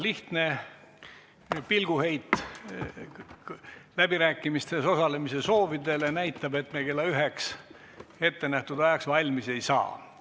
Lihtne pilguheit läbirääkimistel osalemise soovidele näitab, et me kella üheks ehk ettenähtud ajaks valmis ei saa.